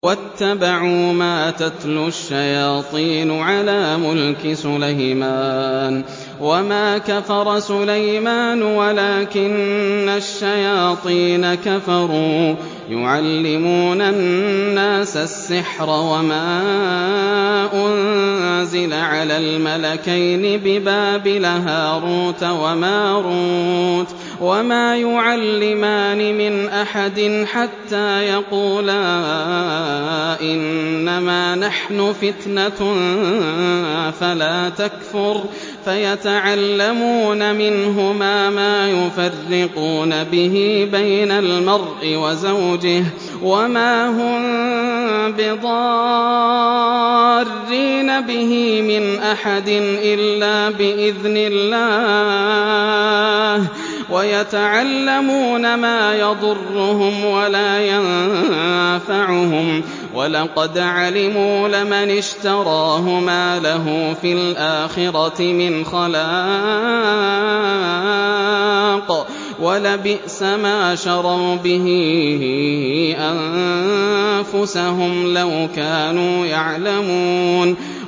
وَاتَّبَعُوا مَا تَتْلُو الشَّيَاطِينُ عَلَىٰ مُلْكِ سُلَيْمَانَ ۖ وَمَا كَفَرَ سُلَيْمَانُ وَلَٰكِنَّ الشَّيَاطِينَ كَفَرُوا يُعَلِّمُونَ النَّاسَ السِّحْرَ وَمَا أُنزِلَ عَلَى الْمَلَكَيْنِ بِبَابِلَ هَارُوتَ وَمَارُوتَ ۚ وَمَا يُعَلِّمَانِ مِنْ أَحَدٍ حَتَّىٰ يَقُولَا إِنَّمَا نَحْنُ فِتْنَةٌ فَلَا تَكْفُرْ ۖ فَيَتَعَلَّمُونَ مِنْهُمَا مَا يُفَرِّقُونَ بِهِ بَيْنَ الْمَرْءِ وَزَوْجِهِ ۚ وَمَا هُم بِضَارِّينَ بِهِ مِنْ أَحَدٍ إِلَّا بِإِذْنِ اللَّهِ ۚ وَيَتَعَلَّمُونَ مَا يَضُرُّهُمْ وَلَا يَنفَعُهُمْ ۚ وَلَقَدْ عَلِمُوا لَمَنِ اشْتَرَاهُ مَا لَهُ فِي الْآخِرَةِ مِنْ خَلَاقٍ ۚ وَلَبِئْسَ مَا شَرَوْا بِهِ أَنفُسَهُمْ ۚ لَوْ كَانُوا يَعْلَمُونَ